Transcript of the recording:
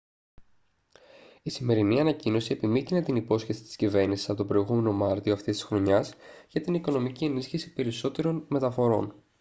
η σημερινή ανακοίνωση επιμύκηνε την υπόσχεση της κυβέρνησης από τον προηγούμενο μάρτιο αυτής της χρονιάς για την οικονομική ενίσχυση περισσότερων μεταφορών